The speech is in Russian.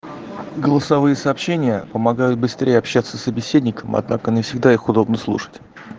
голосовые сообщения помогают быстрее общаться с собеседником однако не всегда их удобно слушать